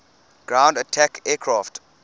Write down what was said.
ground attack aircraft